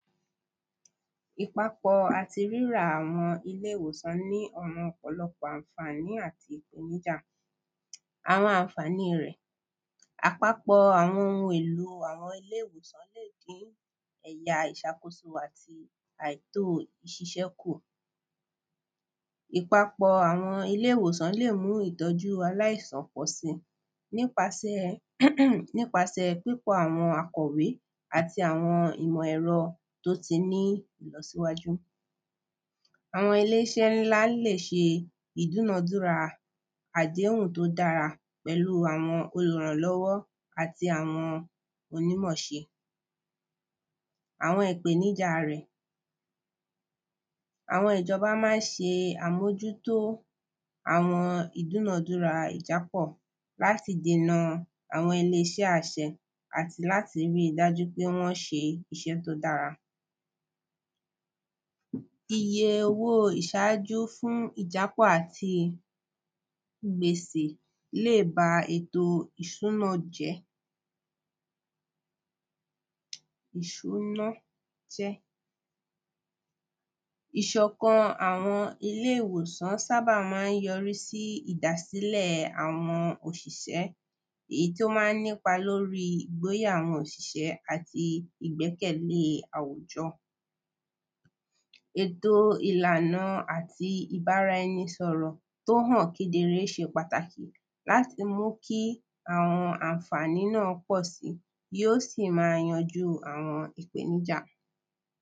Ìpapọ̀ àti rírà àwọn ilé ìwòsàn ní àwọn ọ̀pọ̀loọpọ̀ ànfání àti? Àwọn ànfání rẹ̀ àpapọ̀ àwọn ohun èlò àwọn ilé ìwòsàn ẹ̀ya ìṣàkóso àti àìtó ìṣiṣẹ́ kù ìpapọ̀ àwọn ilé ìwòsàn lè mú ìtọ́jú aláìsàn pọ̀sí nípasẹ̀ nípasẹ̀ pípọ̀ àwọn akọ́wé àti àwọn ìmọ ẹ̀rọ tí ó ní ìlọsíwájú. Àwọn ilé iṣẹ́ ńlá lè ṣe ìdúnà dúrà àdéhùn tó dára pẹ̀lú àwọn olùràlọ́wọ́ àti àwọn onímọṣe àwọn ìpèníjà rẹ̀. Àwọn ìjọba má ń ṣe àmójútó àwọn ìdúnàdúrà ìjápọ̀ láti dèna àwọm ẹni iṣẹ́ àṣẹ àti láti rí dájú pé wọ́n ṣe iṣẹ́ tó dára. Iye owó ìsájú fún ìjápọ̀ àti ìgbèsè jó ba èto ìsùná jẹ́ ìsùná jẹ́ Ìṣọ̀kan àwọn ilé ìwòsàn ṣábà má ń yọrí sí sí ìdásílẹ̀ àwọn òṣìṣẹ́ èyí tó má ń nípa lórí ìgbóyà àwọn òṣìṣẹ́ àti ìgbẹ́kẹ̀lé èto ìlànà àti ìbára ẹni sọ̀rọ̀ tó hàn kedere ó ṣe pàtàkì láti mú kí àwọn ànfání náà pọ̀ sí tí ó sì má yanjú àwọn ìpènijà.